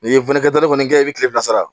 N'i ye wili kɛ kɔni kɛ i bɛ tile fila sara